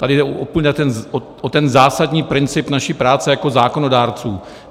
Tady jde o ten zásadní princip naší práce jako zákonodárců.